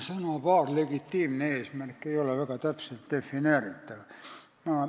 Sõnapaar "legitiimne eesmärk" ei ole väga täpselt defineeritav.